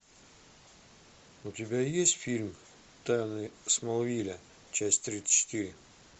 у тебя есть фильм тайны смолвиля часть тридцать четыре